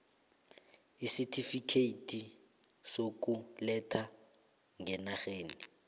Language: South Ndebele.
isitifikhethi sokuletha ngenarheni